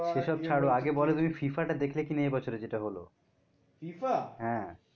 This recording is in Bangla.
সে সব ছাড়ো আগে বলো তুমি FIFA টা দেখলে কিনা এ বছরে যেটা হলো হ্যাঁ